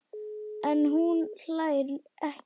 En hún hlær ekki.